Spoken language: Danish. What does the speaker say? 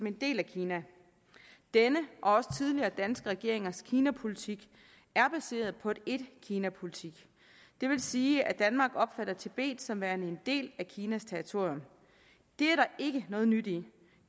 en del af kina denne og også tidligere danske regeringers kinapolitik er baseret på en etkinapolitik det vil sige at danmark opfatter tibet som værende en del af kinas territorium det er der ikke noget nyt i